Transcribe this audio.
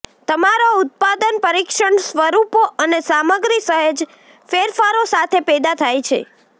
તમારા ઉત્પાદન પરીક્ષણ સ્વરૂપો અને સામગ્રી સહેજ ફેરફારો સાથે પેદા થાય છે